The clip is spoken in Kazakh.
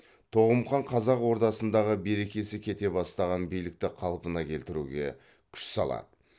тоғым хан қазақ ордасындағы берекесі кете бастаған билікті қалпына келтіруге күш салады